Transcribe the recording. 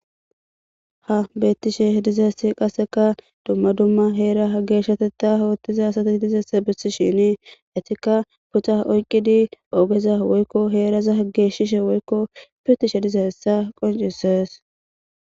Ha betishe dizayis duma duma hera geshatetha othida asata gididayisa besishini etika puxa oyikidi ogeza woyiko heraza geshishin woyiko pitishin dizayisa qonicises